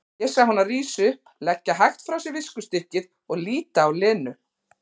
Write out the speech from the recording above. Ég sá hana rísa upp, leggja hægt frá sér viskustykkið og líta á Lenu.